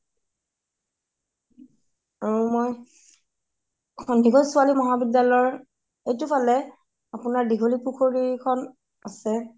আৰু মই সন্দিকৈ ছোৱালী মহাবিদ্যালয়ৰ সেইটোত ফালে আপোনাৰ দীঘলী পুখুৰীখন আছে